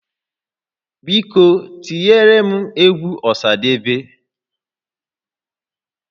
Biko tinyere m egwu Ọsadebe